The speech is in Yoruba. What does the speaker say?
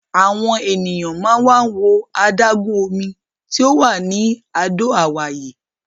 Àwọn ènìyàn máa ń wá wo adágún omi tí ò wà ní Àdó Àwáyé.